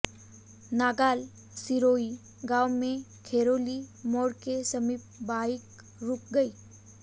नांगल सिरोही गांव में खैरोली मोड़ के समीप बाइक रुक गई